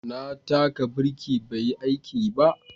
Na taka birki bai yi aiki ba